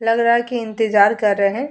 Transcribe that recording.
लग रहा है की इंतजार कर रहे हैं।